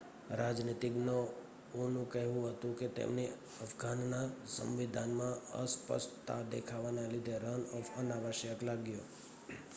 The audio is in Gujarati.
રાજનીતિજ્ઞઓ નું કહેવું હતું કે એમને અફઘાનના સવિંધાનમાં અસ્પષ્તા દેખાવા ના લીધે રન-ઑફ અનાવશ્યક લાગ્યો